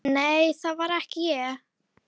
Nei, það var ekki ég